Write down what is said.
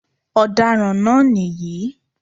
Ọ̀daràn náà nìyí